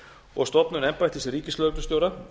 og stofnun embættis ríkislögreglustjóra